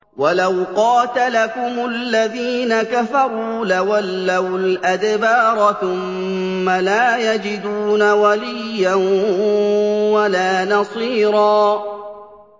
وَلَوْ قَاتَلَكُمُ الَّذِينَ كَفَرُوا لَوَلَّوُا الْأَدْبَارَ ثُمَّ لَا يَجِدُونَ وَلِيًّا وَلَا نَصِيرًا